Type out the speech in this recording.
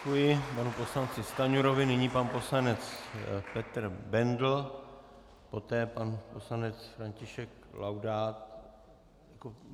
Děkuji panu poslanci Stanjurovi, nyní pan poslanec Petr Bendl, poté pan poslanec František Laudát.